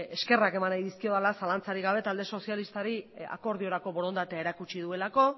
eskerrak eman nahi dizkiodala zalantzarik gabe talde sozialistari akordiorako borondatea erakutsi duelako